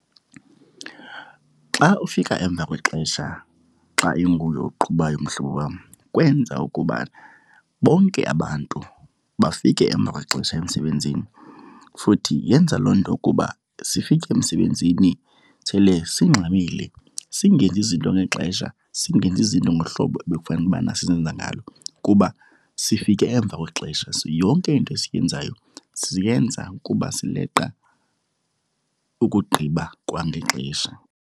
Xa ufika emva kwexesha xa inguwe oqhubayo, mhlobo wam, kwenza ukuba bonke abantu bafike emva kwexesha emsebenzini. Futhi yenza loo nto ukuba sifike emsebenzini sele singxamile singenzi izinto ngexesha, singenzi izinto ngohlobo ebekufanele ubana sizenza ngalo kuba sifike emva kwexesha so yonke into esiyenzayo siyenza kuba sileqa ukugqiba kwangexesha.